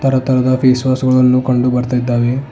ತರ ತರಹದ face wash ಗಳನ್ನು ಕಂಡು ಬರ್ತಾ ಇದ್ದಾವೆ.